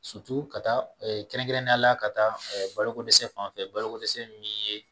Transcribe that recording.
ka taa kɛrɛnkɛrɛnnenya la, ka taa balo ko dɛsɛ fanfɛ balo ko dɛsɛ min ye